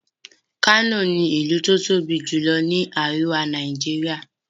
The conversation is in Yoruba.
kano ní ilú tí o tóbi jùlọ ní àríwá Nàìjíríà.